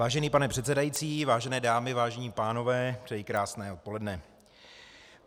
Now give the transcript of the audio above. Vážený pane předsedající, vážené dámy, vážení pánové, přeji krásné odpoledne.